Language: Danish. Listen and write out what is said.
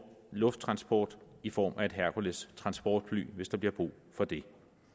lufttransport i form af et herkules transportfly hvis der bliver brug for det